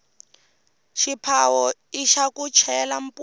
xiphawo ixa ku chela mupu